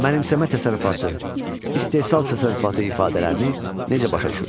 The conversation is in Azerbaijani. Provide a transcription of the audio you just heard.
Mənimsəmə təsərrüfatı, istehsal təsərrüfatı ifadələrini necə başa düşürsünüz?